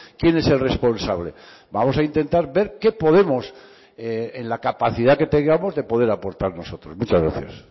quién es el responsable vamos a intentar ver qué podemos en la capacidad que tengamos de poder aportar nosotros muchas gracias